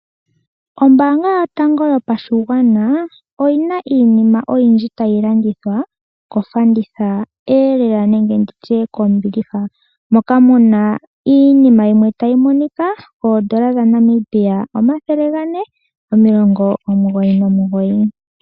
Ombaanga yotango yopashigwana oyina iinima oyindji tayi landithwa kofanditha elelanenge nditye kombiliha moka muna iinima yimwe tayi monika koondola dhaNamibia omathele gane, omilongo omugoyi nomugoyi.